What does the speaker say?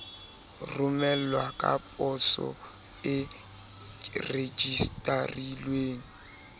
romelwa ka poso e rejistarilweng